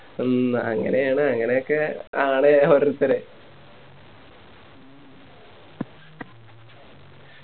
ഉം അങ്ങനെയാണ് അങ്ങനെയൊക്കെ ആണ് ഒരോരുത്തര്